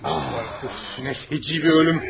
Nə fecii bir ölüm!